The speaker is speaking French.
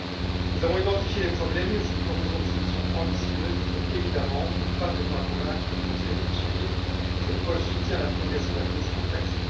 Si nous avons identifié les problèmes et si nous proposons des solutions ambitieuses, il faut évidemment que nous parvenions à convaincre le Conseil de nous suivre, c'est pourquoi je soutiens la prolongation de la commission TAXE.